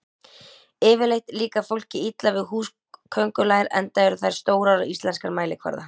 Yfirleitt líkar fólki illa við húsaköngulær enda eru þær stórar á íslenskan mælikvarða.